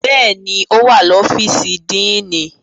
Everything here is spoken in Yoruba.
Bẹ́ẹ̀ni, o wa ni ọfiisi Díínì.